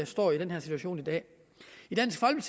står i den her situation i dag